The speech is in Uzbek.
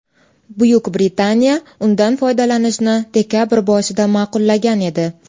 Buyuk Britaniya undan foydalanishni dekabr boshida ma’qullagan edi.